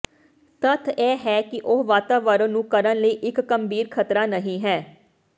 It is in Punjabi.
ਤੱਥ ਇਹ ਹੈ ਕਿ ਉਹ ਵਾਤਾਵਰਣ ਨੂੰ ਕਰਨ ਲਈ ਇੱਕ ਗੰਭੀਰ ਖ਼ਤਰਾ ਨਹੀ ਹੈ